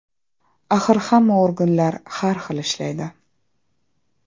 Axir hamma organlar har xil ishlaydi.